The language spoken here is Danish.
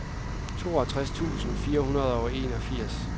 toogtres tusind fire hundrede og enogfirs